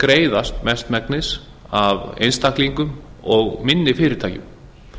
greiðast mestmegnis af einstaklingum og minni fyrirtækjum